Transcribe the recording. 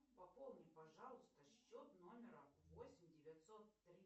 пополни пожалуйста счет номера восемь девятьсот три